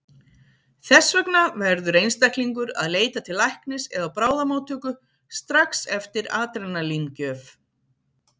Þess vegna verður einstaklingur að leita til læknis eða á bráðamóttöku strax eftir adrenalín-gjöf.